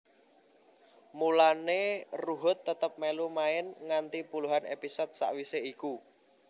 Mulané Ruhut tetep melu main nganti puluhan episode sawisé iku